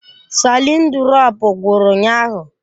Salịn durọpu gwụrụ ụnyaahụ.